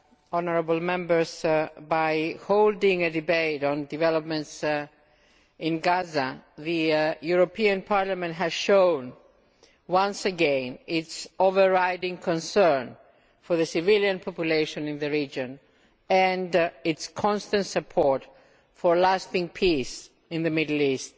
Honourable Members, by holding a debate on developments in Gaza the European Parliament has shown once again its overriding concern for the civilian population in the region and its constant support for lasting pace in the Middle East.